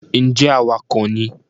ǹjẹ́ awakọ̀ ni?